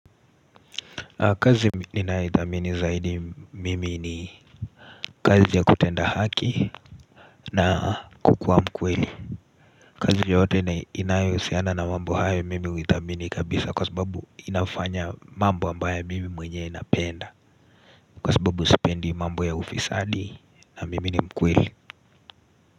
Kazi ninayoithamini zaidi mimi ni kazi ya kutenda haki na kukuwa mkweli kazi yote ni inayohusiana na mambo hayo mimi huithamini kabisa kwa sababu inafanya mambo ambayo mimi mwenye napenda Kwa sababu sipendi mambo ya ufisadi na mimi ni mkweli.